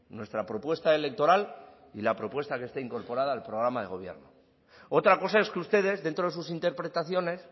nuestra propuesta electoral y la propuesta que está incorporada al programa de gobierno otra cosa es que ustedes dentro de sus interpretaciones